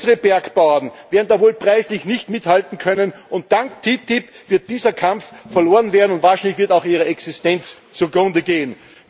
Unsere Bergbauern werden da wohl preislich nicht mithalten können, und dank der TTIP wird dieser Kampf verloren werden, und wahrscheinlich wird auch ihre Existenz zugrunde gehen.